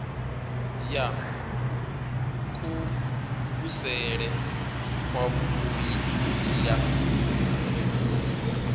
ya kuvhusele kwavhui ndi ya